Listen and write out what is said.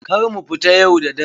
Kar mu fita yau da dare.